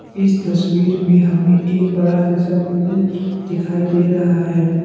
इस तस्वीर में हमें एक बड़ा जैसा पूल दिखाई दे रहा है।